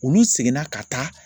Olu seginna ka taa